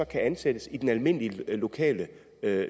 kan ansættes i den almindelige lokale